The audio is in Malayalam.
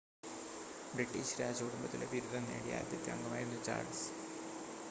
ബ്രിട്ടീഷ് രാജകുടുംബത്തിലെ ബിരുദം നേടിയ ആദ്യത്തെ അംഗമായിരുന്നു ചാൾസ്